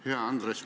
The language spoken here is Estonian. Hea Andres!